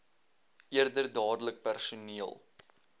eerder dadelik personeel